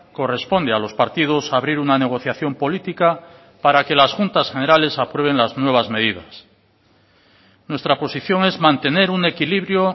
corresponde a los partidos abrir una negociación política para que las juntas generales aprueben las nuevas medidas nuestra posición es mantener un equilibrio